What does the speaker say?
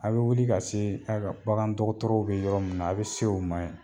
A be wuli ka se a ga bagandɔgɔtɔrɔw be yɔrɔ min na a be wuli ka se ye